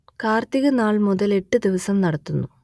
കാർത്തിക നാൾ മുതൽ എട്ടു ദിവസം നടത്തുന്നു